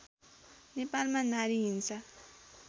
नेपालमा नारी हिंसा